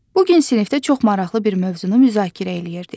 Bu gün sinifdə çox maraqlı bir mövzunu müzakirə eləyirdik.